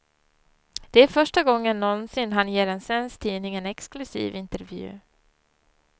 Det är första gången någonsin han ger en svensk tidning en exklusiv intervju.